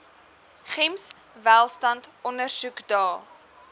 gems welstand ondersoekdae